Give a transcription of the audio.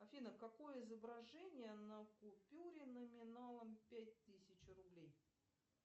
афина какое изображение на купюре номиналом пять тысяч рублей